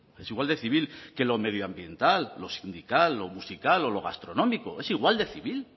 es igual de civil que lo medioambiental lo sindical lo musical o lo gastronómico es igual de civil